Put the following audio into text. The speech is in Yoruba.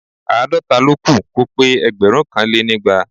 Àádọ́ta ló kù kó pé ẹgbẹ̀rúnkanlénígba